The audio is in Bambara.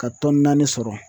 Ka naani sɔrɔ